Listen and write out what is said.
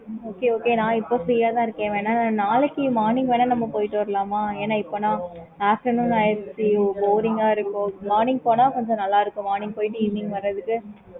okay mam